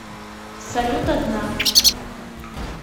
салют одна